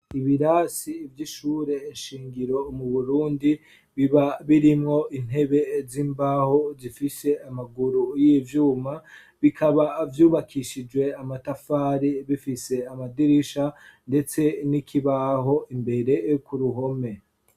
Ibirasi vy'ishure nshingiro mu burundi biba birimwo intebe z'imbaho zifishe amaguru y'ivyuma, bikaba vyubakishijwe amatafari, bifise amadirisha ndetse n'ikibaho imbere yo ku ruhome.